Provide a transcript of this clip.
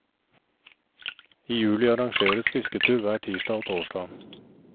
I juli arrangeres fisketur hver tirsdag og torsdag.